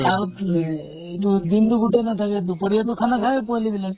আৰু এহ তো দিন টো গোতেই নাথাকে, দুপৰিয়া টো খানা খায়ে পোৱালী বিলাকে।